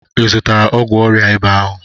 ịzutara ogwụ ọria ịba ahu?